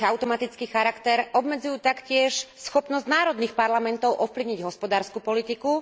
ich automatický charakter, obmedzujú taktiež schopnosť národných parlamentov ovplyvniť hospodársku politiku.